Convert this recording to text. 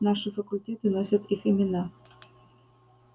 наши факультеты носят их имена